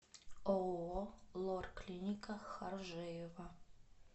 ооо лор клиника харжеева